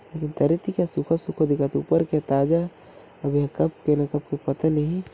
ये तरी ते ह सुखा सुखा दिखत हे ऊपर के ह ताजा ए ह कब के न कब के पता नहीं--